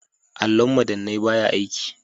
Allon madannai baya aiki.